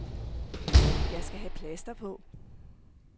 Jeg skal have plaster på.